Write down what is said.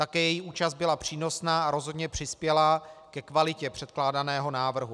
Také jejich účast byla přínosná a rozhodně přispěla ke kvalitě předkládaného návrhu.